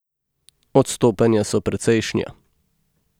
Odstopanja so precejšnja.